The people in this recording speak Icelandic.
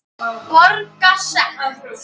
Borga sekt?